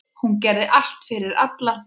Hún gerði allt fyrir alla.